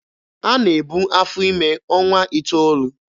A na-ebu afọ ime ọnwa iteolu.